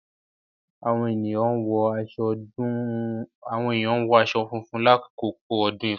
Awọn eniyan wọ aṣọ funfun lakoko odun ifa;